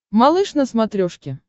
малыш на смотрешке